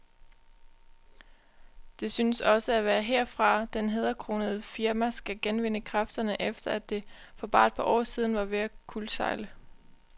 Det synes også at være herfra, det hæderkronede firma skal genvinde kræfterne, efter at det for bare et par år siden var ved at kuldsejle.